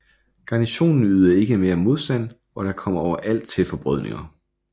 Garnisonen ydede ikke mere modstand og der kom overalt til forbrødringer